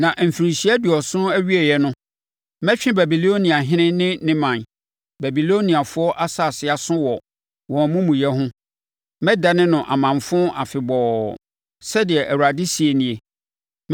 “Na mfirinhyia aduɔson awieeɛ no, mɛtwe Babiloniahene ne ne ɔman, Babiloniafoɔ asase aso wɔ wɔn amumuyɛ ho, mɛdane no amanfo afebɔɔ,” sɛdeɛ Awurade seɛ nie.